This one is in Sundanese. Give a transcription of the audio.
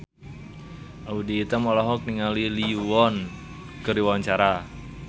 Audy Item olohok ningali Lee Yo Won keur diwawancara